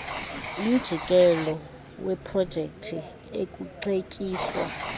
mjikelo weeprojekthi ekuceetyiswa